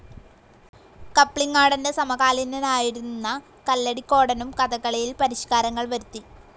കപ്ലിങ്ങാടൻ്റെ സമകാലീനനായിരുന്ന കല്ലടിക്കോടനും കഥകളിയിൽ പരിഷ്‌കാരങ്ങൾ വരുത്തി